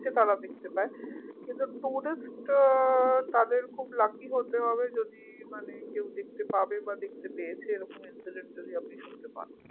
সেটা তারা দেখতে পায় কিন্তু tourist আহ তাদের খুব lucky হতে হবে যদি মানে কেউ দেখতে পাবে বা দেখতে পেয়েছে এরকম incident যদি আপনি শুনতে পান